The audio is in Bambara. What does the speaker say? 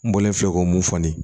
N bɔlen filɛ ko mun fɔ ni